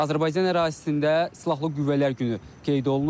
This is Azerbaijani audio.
Azərbaycan ərazisində silahlı qüvvələr günü qeyd olunur.